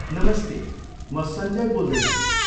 नमस्ते, म सन्जय बोल्दैछु।